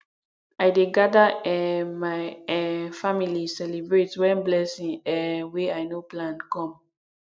i dey gada um my um family celebrate wen blessing um wey i no plan come